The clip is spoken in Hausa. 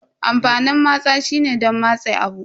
Amfanin matsa shine don matse abu.